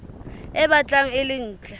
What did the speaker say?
e batlang e le ntle